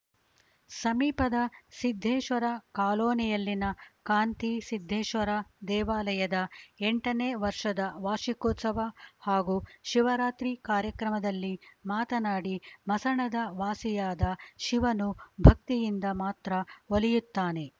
ಸಮೀಪದ ಸಿದ್ದೇಶ್ವರ ಕಾಲೋನಿಯಲ್ಲಿನ ಕಾಂತಿ ಸಿದ್ದೇಶ್ವರ ದೇವಾಲಯದ ಎಂಟನೇ ವರ್ಷದ ವಾರ್ಷಿಕೋತ್ಸವ ಹಾಗು ಶಿವರಾತ್ರಿ ಕಾರ್ಯಕ್ರಮದಲ್ಲಿ ಮಾತನಾಡಿ ಮಸಣದ ವಾಸಿಯಾದ ಶಿವನು ಭಕ್ತಿಯಿಂದ ಮಾತ್ರ ಒಲಿಯುತ್ತಾನೆ